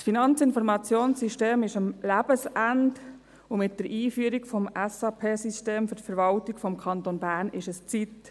Das FIS ist am Lebensende, und für die Einführung des SAP-Systems in der Verwaltung des Kantons Bern ist es an der Zeit.